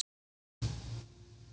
En ekki hverjir?